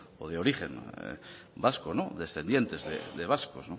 o de origen vasco descendientes de vascos